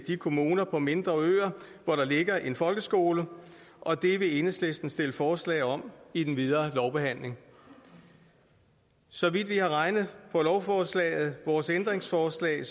kommuner på mindre øer hvor der ligger en folkeskole og det vil enhedslisten stille forslag om i den videre lovbehandling så vidt vi har regnet på lovforslaget og vores ændringsforslag